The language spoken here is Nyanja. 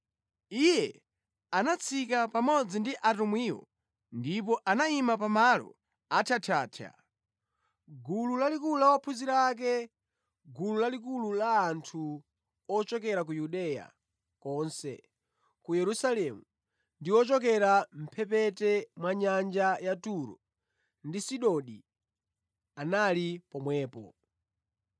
Iye anatsika pamodzi ndi atumwiwo ndipo anayima pamalo athyathyathya. Gulu lalikulu la ophunzira ake, gulu lalikulu la anthu ochokera ku Yudeya konse, ku Yerusalemu ndi ochokera mʼmphepete mwa nyanja ya Turo ndi Sidoni anali pomwepo.